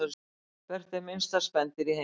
Hvert er minnsta spendýr í heimi?